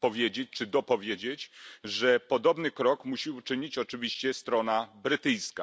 powiedzieć czy dopowiedzieć, że podobny krok musi uczynić oczywiście strona brytyjska.